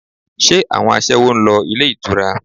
Ṣé àwọn aṣẹ́wó ń lọ ilé ìtura?